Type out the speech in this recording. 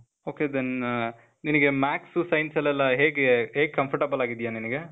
OK , then ಆ, ನಿನಿಗೆ math's science ಅಲ್ಲೆಲ್ಲಾ ಹೇಗೇ, ಹೇಗ್ comfortable ಆಗಿದೀಯ ನಿನಿಗೆ?